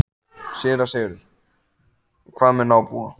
SÉRA SIGURÐUR: En hvað með nábúa.